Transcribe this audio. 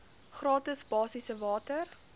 gratis basiese water